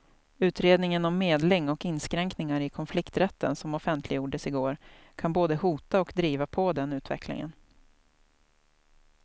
Utredningen om medling och inskränkningar i konflikträtten som offentliggjordes i går kan både hota och driva på den utvecklingen.